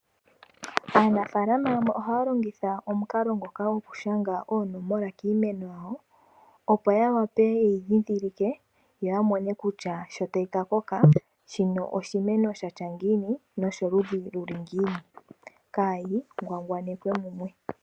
Aanafalama yamwe ohaalongitha omukalo gwokushanga oonomola kiimeno yawo opo yeyi ndhindhilike shi tayi kakoka, oyi wetike kutya oyoludhi lwiipi kaayitulwe mumwe.